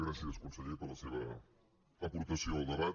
gràcies conseller per la seva aportació al debat